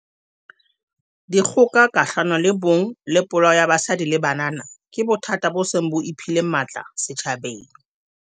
Dikgoka kgahlano le bong le polao ya basadi le banana ke bothata bo seng bo iphile matla setjhabeng.